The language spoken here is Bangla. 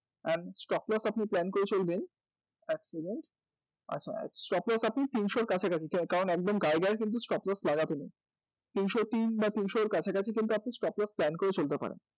and stock load আপনি plan করে চলবেন এক second আচ্ছা stock load আপনি তিনশোর কাছাকাছি কারণ একদম গায়েগায়ে কিন্তু stock load লাগাতে নেই তিনশো তিন বা তিনশোর কাছাকাছি কিন্তু আপনি stock load plan করে চলতে পারেন